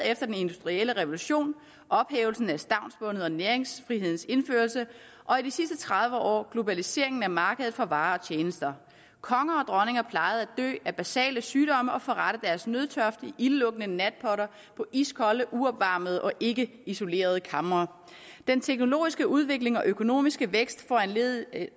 efter den industrielle revolution og ophævelsen af stavnsbåndet og næringsfrihedens indførelse og i de sidste tredive år globaliseringen af markedet for varer og tjenester konger og dronninger plejede at dø af basale sygdomme og forrette deres nødtørft i ildelugtende natpotter på iskolde uopvarmede og ikkeisolerede kamre den teknologiske udvikling og økonomiske vækst foranlediget af